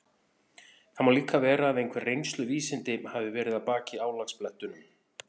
Það má líka vera að einhver reynsluvísindi hafi verið að baki álagablettunum.